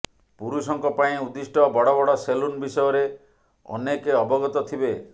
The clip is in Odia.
ପୁରୁଷଙ୍କ ପାଇଁ ଉଦ୍ଦିଷ୍ଟ ବଡ ବଡ ସେଲୁନ୍ ବିଷୟରେ ଅନେକେ ଅବଗତ ଥିବେ